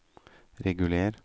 reguler